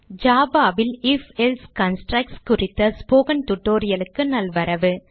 Java ல் if else constructs குறித்த spoken tutorial க்கு நல்வரவு